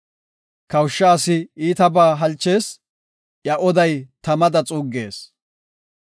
Kawusha asi iitabaa halchees; iya oday tamada xuuggees.